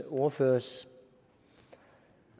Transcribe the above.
ordførers